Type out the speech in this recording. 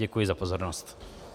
Děkuji za pozornost.